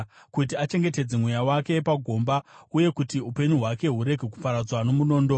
kuti achengetedze mweya wake pagomba, uye kuti upenyu hwake hurege kuparadzwa nomunondo.